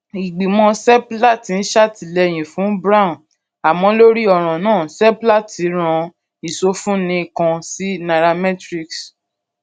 ìgbìmọ seplat ń ṣètìlẹyìn fún brown àmọ lórí ọràn náà seplat rán ìsọfúnni kan sí nairametrics